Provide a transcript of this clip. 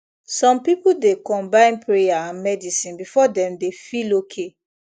some people dey combine prayer and medicine before dem dey feel okay